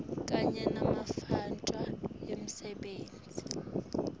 kanye nematfuba emisebenti